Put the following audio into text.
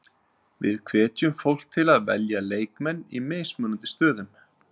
Við hvetjum fólk til að velja leikmenn í mismunandi stöðum.